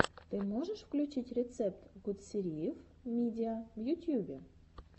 ты можешь включить рецепт гутсериев мидиа в ютьюбе